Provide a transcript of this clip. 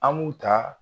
An b'u ta